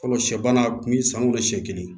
Fɔlɔ sɛ baara kun bɛ san o la siɲɛ kelen